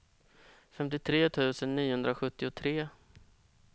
femtiotre tusen niohundrasjuttiotre